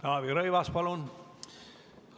Taavi Rõivas, palun!